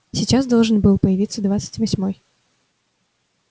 сейчас должен был появиться двадцать восьмой